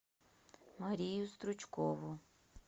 марию стручкову